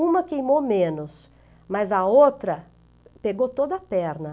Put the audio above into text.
Uma queimou menos, mas a outra pegou toda a perna.